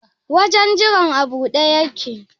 Wajen jiran a buɗe yake?